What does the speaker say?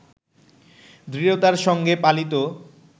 দৃঢ়তার সঙ্গে পালিত